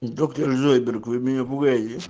доктор зойдберг вы меня пугаете